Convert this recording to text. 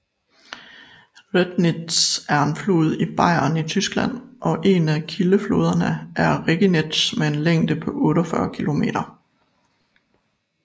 Rednitz er en flod i Bayern i Tyskland og en af kildefloderne til Regnitz med en længde på 48 km